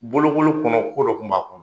Bolokolo kɔnɔ ko dɔ kun b'a kɔnɔ.